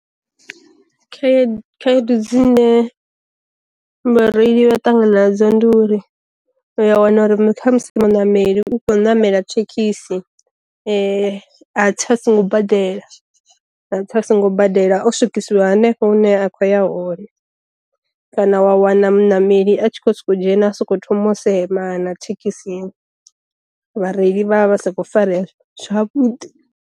Khaedu khaedu dzine vhareili vha ṱangana nadzo ndi uri u ya wana uri kha musi muṋameli u kho namela thekhisi a tsa so ngo badela, a tsa a songo badela o swikisiwa hanefho hune a khou ya hone, kana wa wana muṋameli a tshi kho soko dzhena a soko thoma u semana thekhisi vhareili vha vha sa kho fareya zwavhuḓi.